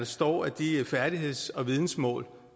står at de færdigheds og vidensmål